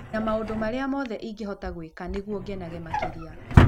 na maũndũ marĩa mothe ingĩhota gwĩka nĩguo ngenage makĩria